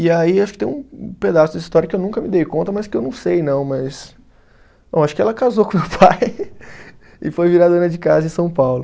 E aí acho que tem um um pedaço da história que eu nunca me dei conta, mas que eu não sei não, mas. Bom, acho que ela casou com meu pai e foi virar dona de casa em São Paulo.